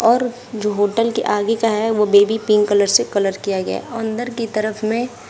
और जो होटल के आगे का है वो बेबी पिंक कलर से कलर किया गया अंदर की तरफ में--